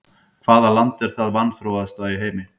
Hvaða land er það vanþróaðasta í heimi?